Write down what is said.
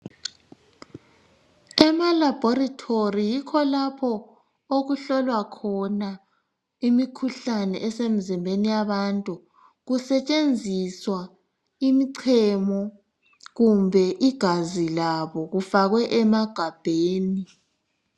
Emalabholitholi yikho lapho okuhlolwa khona imikhuhlane esemizimbeni yabantu. Kusetshenziswa imichemo kumbe igazi labo kufakwe emagabheni.